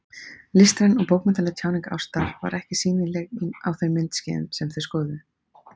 Listræn eða bókmenntaleg tjáning ástar var ekki sýnileg í þeim myndskeiðum, sem skoðuð voru.